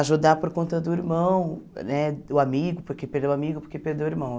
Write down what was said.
ajudar por conta do irmão, né do amigo, porque perdeu o amigo, porque perdeu o irmão.